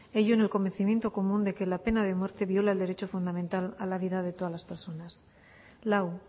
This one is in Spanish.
ello en el convencimiento común de que la pena de muerte viola el derecho fundamental a la vida de todas las personas lau